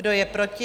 Kdo je proti?